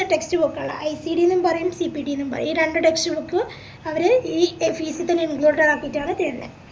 പിന്നെ text book കളാ ICD ന്നും പറയും CPT ന്നും പറയും ഈ രണ്ട് text book അവര് ഈ fees തന്നെ included ആക്കിട്ടാണ് തെരുന്നെ